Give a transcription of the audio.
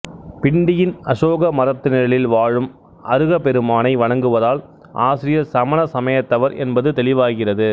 பிண்டியின் அசோக மரத்து நிழலில் வாழும் அருகப் பெருமானை வணங்குவதால் ஆசிரியர் சமண சமயத்தவர் என்பது தெளிவாகிறது